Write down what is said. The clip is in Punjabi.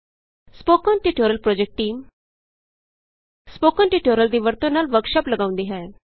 spoken tutorial project team spoken tutorial ਦੀ ਵਰਤੋਂ ਨਾਲ ਵਰਕਸ਼ਾਪ ਲਗਾਉਂਦੀ ਹੈ